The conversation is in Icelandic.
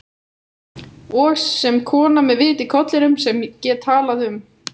Og sem kona með vit í kollinum, sem get talað um